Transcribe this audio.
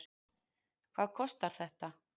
Hvað kostar þetta?